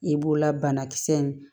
I b'o la banakisɛ in